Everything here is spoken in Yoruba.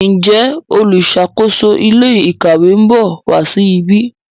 Njé oluṣakoso ilé ìkàwé nbọ wá sí ìbi?